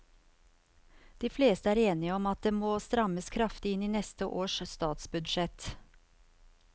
De fleste er enige om at det må strammes kraftig til i neste års statsbudsjett.